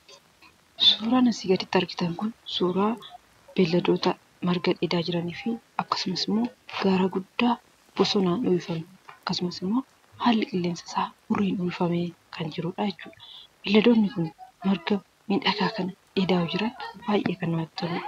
Suuraan asii gaditti argitan kun, suuraa beeladoota marga dheedaa jiraniifi akkasumasimmoo gaara guddaa bosonaan uwwifamee, akkasumasimmoo haalli qilleensaa isaa huurriin uwwifamee kan jiruudha. Beelladoonni kun marga miidhagaa kana dheedaa yoo jiran baayyee kan namatti toluudha.